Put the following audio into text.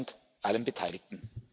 Besten Dank allen Beteiligten.